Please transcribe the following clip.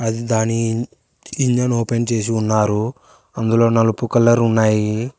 దాని engine open చేసి ఉన్నారు అందులో నలుపు కలర్ ఉన్నాయి.